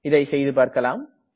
இதை செய்துபார்க்கலாம்